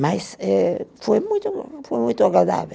Mas eh, foi muito, foi muito agradável.